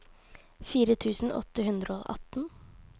fire tusen åtte hundre og atten